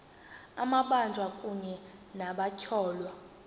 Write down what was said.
amabanjwa kunye nabatyholwa